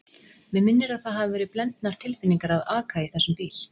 Mig minnir að það hafi verið blendnar tilfinningar að aka í þessum bíl.